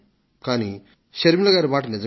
కానీ శర్మిలాజీ మాట నిజమే